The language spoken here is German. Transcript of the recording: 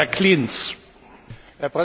Herr Präsident, liebe Kollegen!